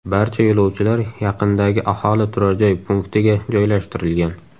Barcha yo‘lovchilar yaqindagi aholi turar joy punktiga joylashtirilgan.